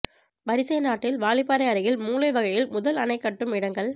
வரிசை நாட்டில் வாலிப்பாறை அருகில் மூலை வைகையில் முதல் அணை கட்டும் இடங்கள்